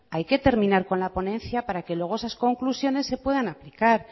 hay que terminar con la ponencia para que luego esas conclusiones se puedan aplicar